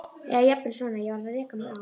Eða jafnvel svona: Ég varð að reka mig á.